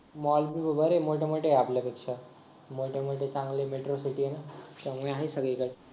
mall तर बरे आहे मोठे मोठे आपल्यापेक्षा मोठे मोठे चांगले metro city आहे ना त्यामुळे आहे सगळीकडे